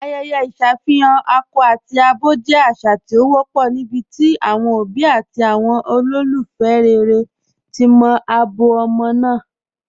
Ayẹ̀yẹ̀ iṣafihàn akọ̀ tabi abọ jẹ́ àṣà tí o wọ̀pọ̀ níbití awọn obì àti awọn olúfẹ́ rẹ̀rẹ̀ ti mọ̀ abọ̀ ọmọ́ náà.